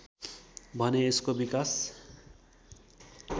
भने यसको विकास